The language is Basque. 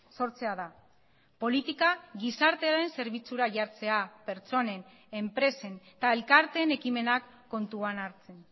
sortzea da politika gizartearen zerbitzura jartzea pertsonen enpresen eta elkarteen ekimenak kontuan hartzen